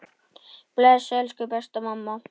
Bless, elsku besta mamma.